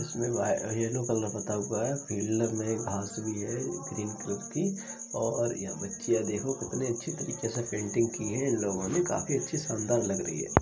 इसमें yellow colour पुता हुआ है फ़ील्ड में घास भी है ग्रीन कलर की और यह बच्चियां देखो कितनी अच्छी तरीके से पेंटिंग की है इन लोगों ने काफी अच्छी शानदार लग रही है ।